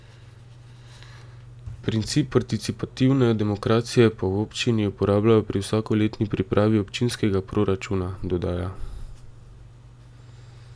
Princip participativne demokracije pa v občini uporabljajo pri vsakoletni pripravi občinskega proračuna, dodaja.